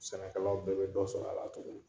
Sɛnɛkɛlaw bɛɛ bɛ dɔ sɔrɔ a la tuguni.